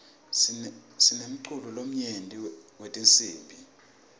sinemculo lomnyenti wetinsibi